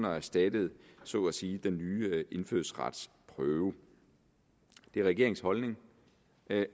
og erstatter så at sige den nye indfødsretsprøve det er regeringens holdning